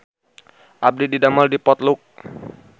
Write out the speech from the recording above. Abdi didamel di Potluck